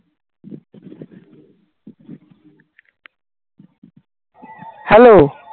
hello